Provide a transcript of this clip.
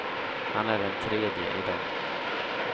Han är den tredje i dag.